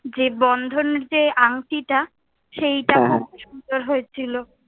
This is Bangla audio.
যে বন্ধন যে আংটিটা সেইটা খুব সুন্দর হয়ে ছিলো।